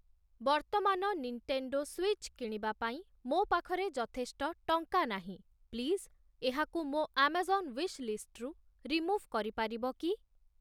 ବର୍ତ୍ତମାନ Nintendo Switch କିଣିବା ପାଇଁ ମୋ ପାଖରେ ଯଥେଷ୍ଟ ଟଙ୍କା ନାହିଁ, ପ୍ଲିଜ୍‌ ଏହାକୁ ମୋ ଆମାଜନ୍‌ ୱିଶ୍‌ ଲିଷ୍ଟ୍‌ରୁ ରିମୁଭ୍‌ କରିପାରିବ କି?